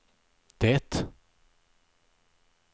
det